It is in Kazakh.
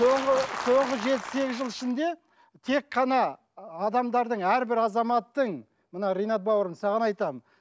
соңғы соңғы жеті сегіз жыл ішінде тек қана адамдардың әрбір азаматтың мына ринат бауырым саған айтамын